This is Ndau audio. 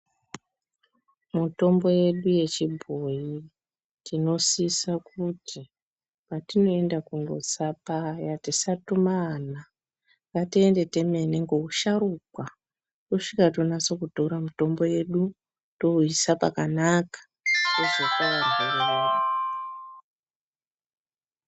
Mitombo yedu yechibhoi tinosisa kuti patinoenda kundotsa paya tisatuma ana. Ngatiende temene ngeusharukwa tosvika tonyatso kutora mutombo vedu touisa pakanaka tozopa varwere vedu.